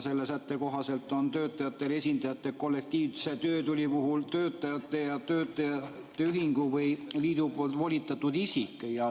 Selle sätte kohaselt on töötajate esindajaks kollektiivse töötüli puhul töötajate ja nende ühingu või liidu volitatud isik.